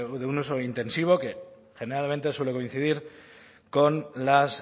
de un uso intensivo que generalmente suele coincidir con las